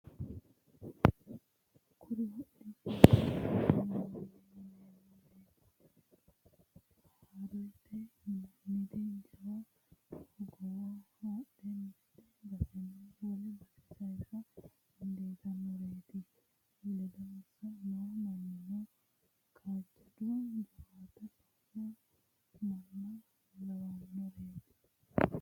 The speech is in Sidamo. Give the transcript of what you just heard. Kuri kodhishshaho horonsi'neemmoreti harrete yinanniri jawa hogowo haadhe mite baseni wole base saysa dandiittanoreti ledonsa no mannino kaajjado jawaatta loosu manna lawanoreti.